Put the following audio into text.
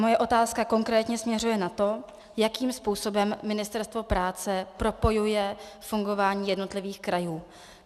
Moje otázka konkrétně směřuje na to, jakým způsobem Ministerstvo práce propojuje fungování jednotlivých krajů.